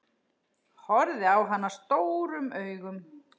Horfði á hana stórum augum.